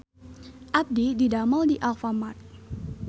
Abdi didamel di Alfamart